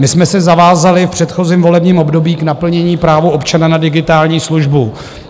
My jsme se zavázali v předchozím volebním období k naplnění práva občana na digitální službu.